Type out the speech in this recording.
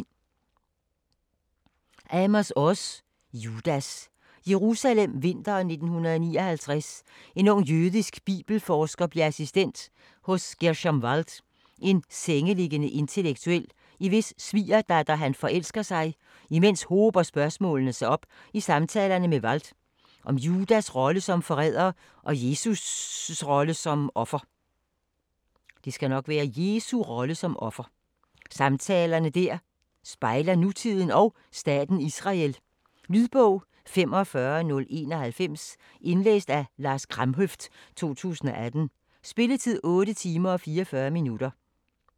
Oz, Amos: Judas Jerusalem, vinteren 1959. En ung jødisk bibelforsker bliver assistent hos Gerschom Wald, en sengeliggende intellektuel, i hvis svigerdatter han forelsker sig. Imens hober spørgsmålene sig op i samtalerne med Wald, om Judas rolle som forræder og Jesus rolle som offer. Samtaler der spejler nutiden og staten Israel. Lydbog 45091 Indlæst af Lars Kramhøft, 2018. Spilletid: 8 timer, 44 minutter.